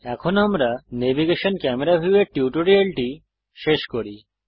এখন আমরা navigation Camera view এর টিউটোরিয়ালটি শেষ করি